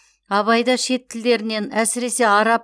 абайда шет тілдерінен әсіресе араб